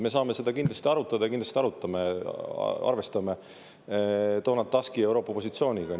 Me saame seda kindlasti arutada ja kindlasti arutame, arvestades ka Donald Tuski positsiooni Euroopas.